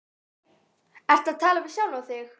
Ertu að tala við sjálfa þig?